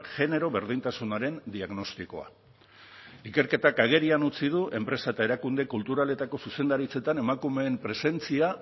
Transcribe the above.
genero berdintasunaren diagnostikoa ikerketak agerian utzi du enpresa eta erakunde kulturaletako zuzendaritzetan emakumeen presentzia